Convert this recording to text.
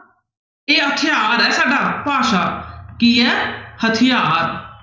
ਇਹ ਹਥਿਆਰ ਹੈ ਸਾਡਾ ਭਾਸ਼ਾ ਕੀ ਹੈ ਹਥਿਆਰ।